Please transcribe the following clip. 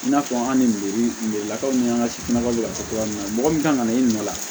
I n'a fɔ an ni degelakaw ni an ka sifinnakaw bɛ ka fɔ cogoya min na mɔgɔ min kan ka na i ɲininka